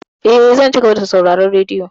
Eh, zan cigaba da sauraron radiyo.